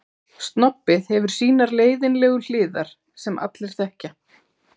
Snobbið hefur sínar leiðinlegu hliðar sem allir þekkja.